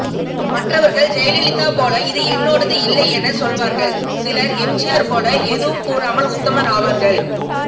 மற்றவர்கள் ஜெயலலிதா போல இது என்னோடது இல்லை என சொல்வார்கள் சிலர் எம்ஜிய்யர் போல எதுவும் கூறாமல் உத்தமர் ஆவார்கள்